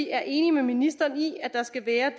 er enig med ministeren i at der skal være